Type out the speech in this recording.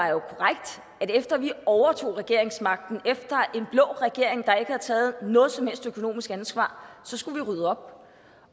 jo korrekt at efter vi overtog regeringsmagten efter en blå regering der ikke havde taget noget som helst økonomisk ansvar skulle vi rydde op